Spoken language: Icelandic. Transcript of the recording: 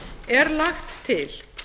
er lagt til